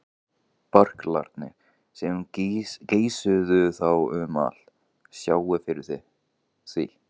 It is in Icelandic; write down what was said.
Berklarnir, sem geisuðu þá um allt, sáu fyrir því.